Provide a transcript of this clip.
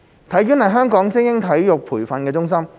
體院是香港的精英體育培訓中心。